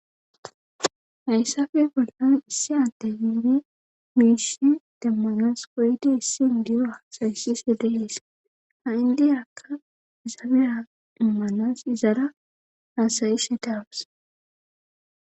Hayssafe bollan issi adde biibe miishe demmanas koyde issin diyoasayssi sele7ees ha7i ndiyakka isafea immanas izara haasayishe daawas.